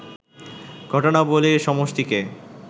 ঘটনাবলীর সমষ্টিকে